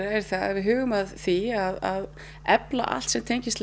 er að huga að því að efla allt sem tengist